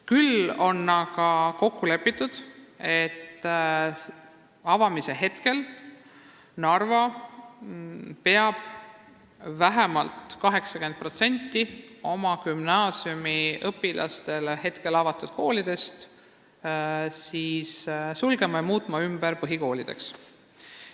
Küll on aga veel kokku lepitud, et avamise ajaks peab Narva sulgema vähemalt 80% oma gümnaasiumiõpilaste koolidest ja muutma need põhikoolideks.